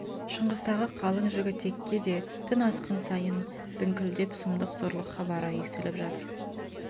шыңғыстағы қалың жігітекке де түн асқың сайын дүңкілдеп сұмдық зорлық хабары естіліп жатыр